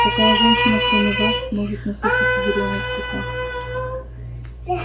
какая женщина кроме вас может носить эти зелёные цвета